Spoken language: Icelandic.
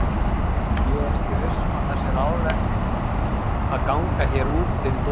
Ég er ekki viss um að það sé ráðlegt að ganga hér út fyrir dyr.